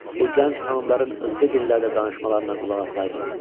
Bu gənc xanımların özgə dillərdə danışmalarına qulaq asaydın.